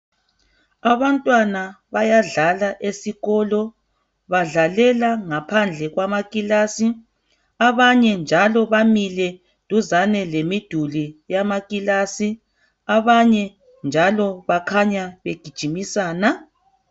Abantwana bayadlala esikolo badlalela ngaphandle kwamakilasi, abanye njalo bamile duzane lemiduli yamakilasi, abanye njalo bakhanya begijimisana.